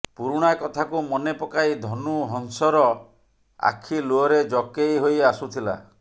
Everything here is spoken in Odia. ପୁରୁଣା କଥାକୁ ମନେପକାଇ ଧନୁ ହଂସର ଆଖି ଲୁହରେ ଜକେଇ ହୋଇ ଆସୁଥିଲା